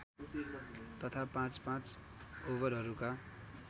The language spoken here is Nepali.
तथा पाँचपाँच ओभरहरूका